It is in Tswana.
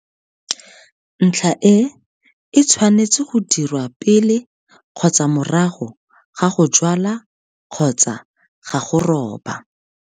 Ntlha e e tshwanetswe go dirwa pele kgotsa morago ga go jwala kgotsa ga go roba.